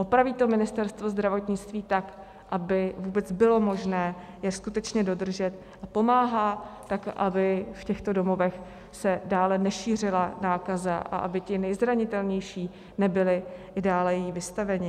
Opraví to Ministerstvo zdravotnictví tak, aby vůbec bylo možné je skutečně dodržet, a pomáhá tak, aby v těchto domovech se dále nešířila nákaza a aby ti nejzranitelnější nebyli i dále jí vystaveni?